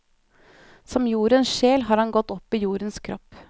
Som jordens sjel har han gått opp i jordens kropp.